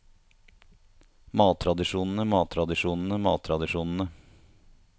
mattradisjonene mattradisjonene mattradisjonene